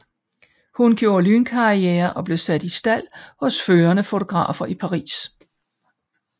Hun gjorde lynkarriere og blev sat i stald hos førende fotografer i Paris